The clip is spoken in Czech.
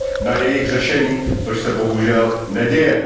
na jejich řešení, což se bohužel neděje.